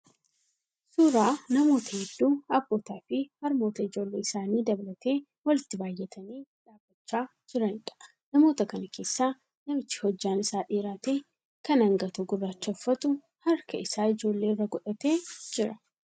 Suuraa namoota hedduu, abbootaa fi harmoota ijoollee isaanii dabalatee walitti baay'atanii dhaabbachaa jiraniidha. Namoota kana keessaa namichi hojjaan isaa dheeraa ta'e kan angatoo gurraacha uffatu harka isaa ijoollee irra godhatee jira.